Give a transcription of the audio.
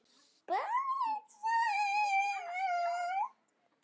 Barn, sagði hún.